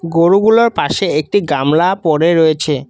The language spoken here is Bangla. গোরুগুলোর পাশে একটি গামলা পড়ে রয়েছে।